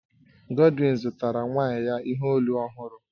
Godwin zụtara nwaanyị ya ihe olu ọhụrụ